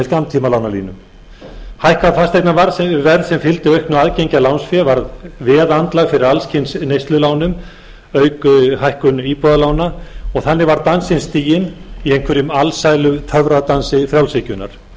skammtímalánalínu hækka fasteignaverð sem fylgdi auknu aðgengi að lánsfé varð veðandlag fyrir alls kyns neyslulánum auk hækkunar íbúðarlána og þannig var dansinn stiginn í einhverjum alsælutöfradansi frjálshyggjunnar svo virtist sem